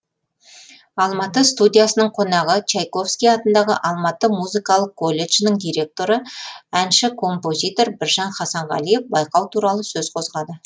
алматы студиясының қонағы чайковский атындағы алматы музыкалық колледжінің директоры әнші композитор біржан хасанғалиев байқау туралы сөз қозғады